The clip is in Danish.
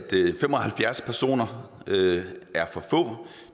fem og halvfjerds personer er for få